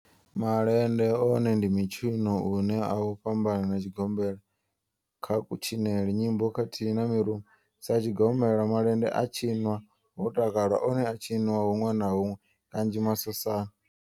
Malende one ndi mitshino une a u fhambana na tshigombela kha kutshinele, nyimbo khathihi na mirumba. Sa tshigombela, malende a tshinwa ho takalwa, one a a tshiniwa hunwe na hunwe kanzhi masosani.